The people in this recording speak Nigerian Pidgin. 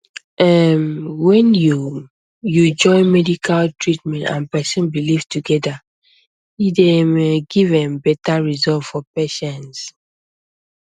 erm when um you join medical treatment and person belief together e dey um give erm better result for patients